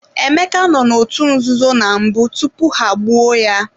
Emeka no n'otu nzuzo na mbụ tupu ha-egbuo ya.